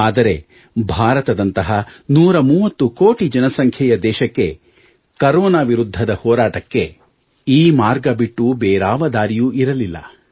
ಆದರೆ ಭಾರತದಂತಹ 130 ಕೋಟಿ ಜನಸಂಖ್ಯೆಯ ದೇಶಕ್ಕೆ ಕರೋನಾ ವಿರುದ್ಧದ ಹೋರಾಟಕ್ಕೆ ಈ ಮಾರ್ಗ ಬಿಟ್ಟು ಬೇರಾವ ದಾರಿಯೂ ಇರಲಿಲ್ಲ